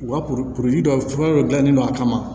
U ka kurukuru dɔ fura dɔ gilanlen don a kama